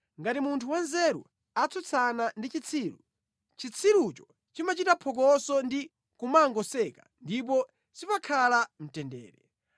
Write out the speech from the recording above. Ngati munthu wanzeru atsutsana ndi chitsiru, chitsirucho chimachita phokoso ndi kumangoseka ndipo sipakhala mtendere.